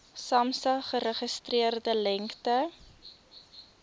samsa geregistreerde lengte